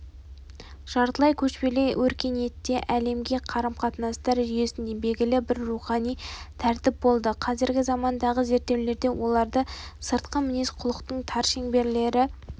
жартылай көшпелі өркениетте әлемге қарым-қатынастар жүйесінде белгілі бір рухани тәртіп болды қазіргі замандағы зерттеулерде оларды сыртқы мінез-құлықтың тар шеңберлері